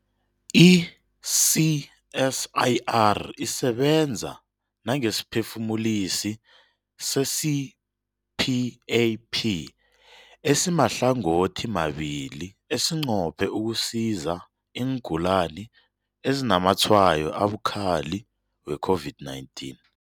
I-CSIR isebenza nangesiphefumulisi se-CPAP esimahlangothimabili esinqophe ukusiza iingulani ezinazamatshwayo abukhali we-COVID-19.